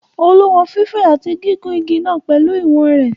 Olú wọn fífẹ̀ àti gígùn igi náà pẹ̀lú ìwọ̀n.